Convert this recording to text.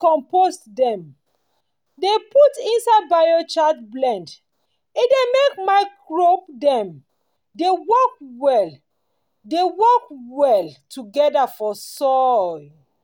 loamy compost dem dey put inside biochar blend e dey make microbe dem dey work well dey work well together for soil.